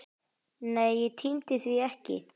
Nei, ég tímdi því ekki!